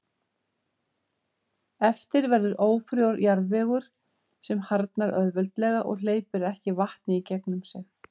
Eftir verður ófrjór jarðvegur sem harðnar auðveldlega og hleypir ekki vatni í gegnum sig.